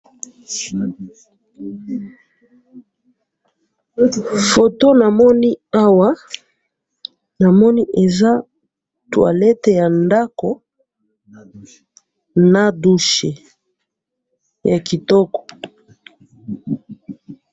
photo na moni awa nama moni eza toilette ya ndaku na douche ya kitoko